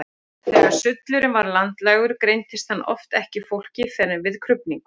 Þegar sullurinn var landlægur greindist hann oft ekki í fólki fyrr en við krufningu.